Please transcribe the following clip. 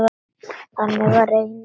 Þannig var Reynir.